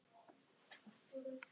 Geimfar stendur undir nafni